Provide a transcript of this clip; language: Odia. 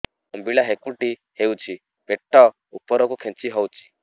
ଅମ୍ବିଳା ହେକୁଟୀ ହେଉଛି ପେଟ ଉପରକୁ ଖେଞ୍ଚି ହଉଚି